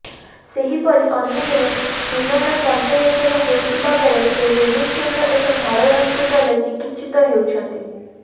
ସେହିପରି ଅନ୍ୟଜଣେ ସୁଲଣ ପଞ୍ଚାୟତର ହୋଇଥିବା ବେଳେ ସେ ଭୁବନେଶ୍ୱରର ଏକ ଘରୋଇ ହସ୍ପିଟାଲରେ ଚିକିତ୍ସିତ ହେଉଛନ୍ତି